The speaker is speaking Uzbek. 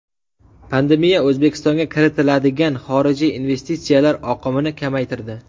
Pandemiya O‘zbekistonga kiritiladigan xorijiy investitsiyalar oqimini kamaytirdi.